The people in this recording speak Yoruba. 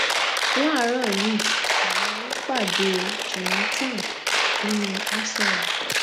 láàárọ yìí buhari pàdé jonathan nínú aso rock